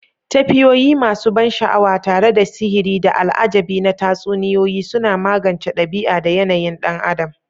Tafiyoyi masu ban sha'awa tare da sihiri da al'ajabi na Tatsuniyoyi suna magance ɗabi'a da yanayin ɗan adam.